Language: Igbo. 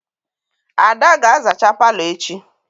Ada ga-azacha palo echi.